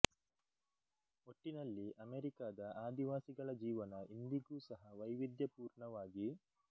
ಒಟ್ಟಿನಲ್ಲಿ ಅಮೆರಿಕದ ಆದಿವಾಸಿಗಳ ಜೀವನ ಇಂದಿಗೂ ಸಹ ವೈವಿಧ್ಯ ಪೂರ್ಣವಾಗಿ